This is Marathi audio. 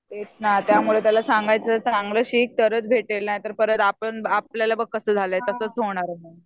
तेच ना त्यामुळं त्याला सांगायचं चांगलं शिक तरच भेटेल नाहीतर परत आपण आपल्याला बघ कसं झालंय तसंच होणार आहे.